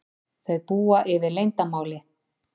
Þau búa yfir leyndarmáli.